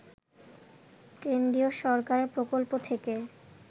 কেন্দ্রীয় সরকারের প্রকল্প থেকে